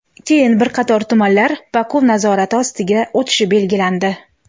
keyin bir qator tumanlar Baku nazorati ostiga o‘tishi belgilandi.